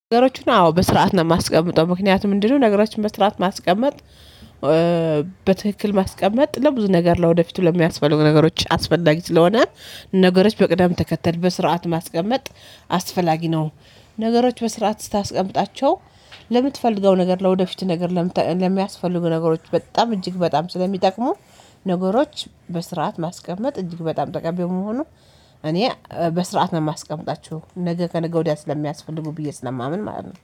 ነገሮችን አዎ በስርዓት ነው የማስቀምጠው ምክንያቱም ምንድነው? ነገሮችን በስርዓት ማስቀመጥ በትክክል ማስቀመጥ ለብዙ ነገር ለወደፊቱ ለሚያስፈልጉ ነገሮች አስፈላጊ ስለሆነ ነገሮች በቅደም ተከተል በስርዓት ማስቀመጥ አስፈላጊ ነው። ነገሮች በስርዓት ስታስቀምጣቸው ለምትፈልገው ነገር ለወደፊት ነገር ለምተ ለሚያስፈልጉ ነገሮች በጣም እጅግ በጣም ስለሚጠቅሙ ነገሮች በስርዓት ማስቀመጥ እጅግ በጣም ጠቃሚ መሆኑ። እኔ በስርዓት ነው የማስቀምጣቸው ነገ ከነገ ወዲያ ስለሚያስፈልጉ ብዬ ስለማምን ማለት ነው